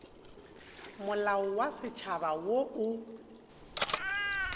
molao wa setšhaba wo o